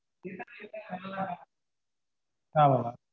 ஆமா mam